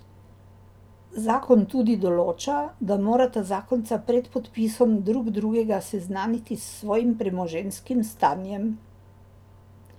Zakon tudi določa, da morata zakonca pred podpisom drug drugega seznaniti s svojim premoženjskim stanjem.